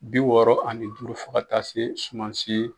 Bi wɔɔrɔ ani duuru fo ka taa se suman si.